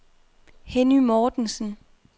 Henny Mortensen